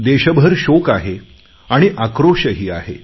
देशभर शोक आहे आणि आक्रोशही आहे